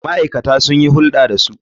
Ma'aikata sun yi hulɗa da su.